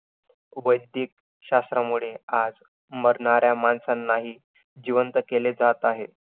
वैदिक शास्त्रामुळे आज मरणाऱ्या माणसांनाही जिवंत केले जात आहे.